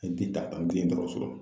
N t'i taa an tti ye dɔgɔtɔrɔso kɔnɔ